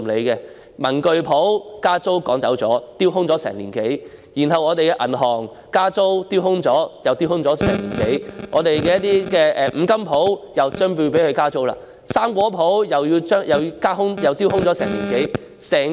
有文具鋪因加租而被趕走，鋪位已丟空1年多；銀行也因為加租丟空了1年多；有五金鋪也快將被加租；水果店亦丟空了1年多。